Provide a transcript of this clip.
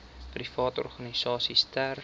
private organisasies ter